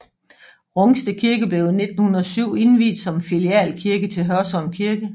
Rungsted Kirke blev i 1907 indviet som filialkirke til Hørsholm Kirke